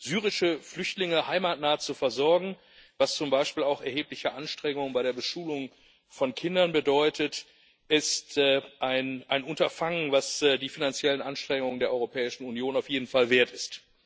Syrische Flüchtlinge heimatnah zu versorgen, was zum Beispiel auch erhebliche Anstrengungen bei der Beschulung von Kindern bedeutet, ist ein Unterfangen, das die finanziellen Anstrengungen der Europäischen Union auf jeden Fall wert ist.